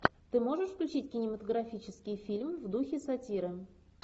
ты можешь включить кинематографический фильм в духе сатиры